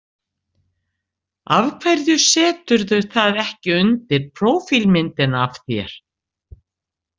Af hverju seturðu það ekki undir prófílmyndina af þér?